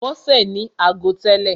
Bọ́sè ní ago tẹ́lè.